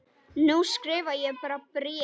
Nú skrifa ég bara bréf!